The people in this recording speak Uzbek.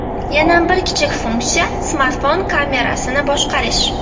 Yana bir kichik funksiya smartfon kamerasini boshqarish.